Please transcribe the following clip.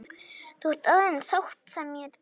Þú ert aðeins sáttasemjari þjáninganna.